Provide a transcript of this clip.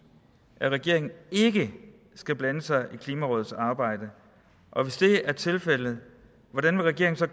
at regeringen ikke skal blande sig i klimarådets arbejde og hvis det er tilfældet hvordan vil regeringen så